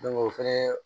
o fɛnɛ